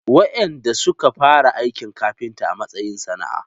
Wadanda suka fara aikin kafinta a matsayin sana’a.